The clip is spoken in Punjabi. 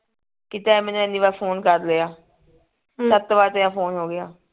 ਕਿ ਤੈਂ ਮੈਨੂੰ ਇੰਨੀ ਵਾਰ ਫੋਨ ਕਰ ਲਿਆ ਸੱਤ ਵਾਰ ਤੇਰਾ ਫੋਨ ਹੋ ਗਿਆ